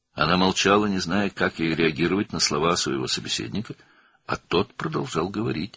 O, susdu, müsahibinin sözlərinə necə reaksiya verəcəyini bilmirdi, o isə danışmağa davam edirdi.